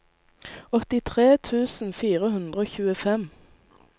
åttitre tusen fire hundre og tjuefem